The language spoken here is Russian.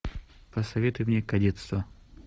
посоветуй мне кадетство